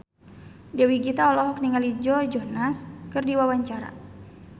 Dewi Gita olohok ningali Joe Jonas keur diwawancara